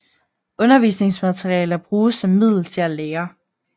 Undervisningsmaterialer bruges som middel til at lære